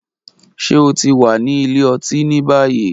Ṣe o ti wa ni ile-oti ni bayi?